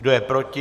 Kdo je proti?